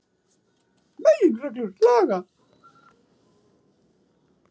Meginreglur laga.